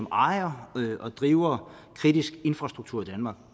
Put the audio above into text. ejer og driver kritisk infrastruktur i danmark